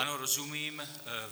Ano, rozumím.